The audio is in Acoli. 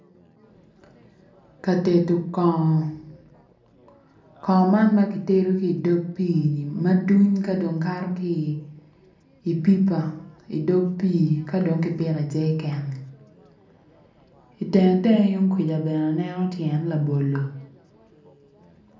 Ka tedo kongo kongo man ma kitedo kato ki idog pii-ni ma duny ka dong kato ki i pipa idog pii ka dong kipiko i jeriken itenge tenge tung kuca bene aneo tyen labolo.